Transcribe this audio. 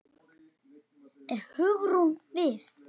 Er Hugrún við?